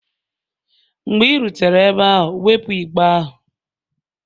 Mgbe ị rutere ebe ahụ, wepụ igbe ahụ!